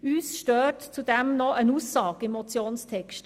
Uns stört zudem noch eine Aussage im Vorstosstext.